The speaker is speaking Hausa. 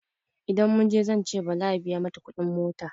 Idan muje zance Bala ya biya mata kudin mota.